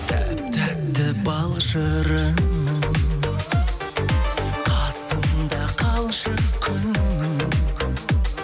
тәп тәтті бал шырыным қасымда қалшы күнім